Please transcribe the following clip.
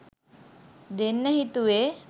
දෙන්න හිතුවේ.